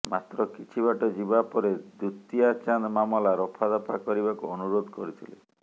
ମାତ୍ର କିଛି ବାଟ ଯିବା ପରେ ଦୁତିଆଚାନ୍ଦ ମାମଲା ରଫାଦଫା କରିବାକୁ ଅନୁରୋଧ କରିଥିଲେ